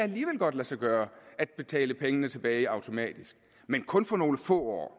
lade sig gøre at betale pengene tilbage automatisk men kun for nogle få år